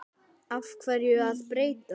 Af hverju að breyta?